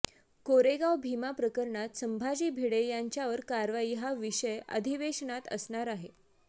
कोरेगाव भीमा प्रकरणात संभाजी भिडे यांच्यावर कारवाई हा विषय अधिवेशनात असणार आहे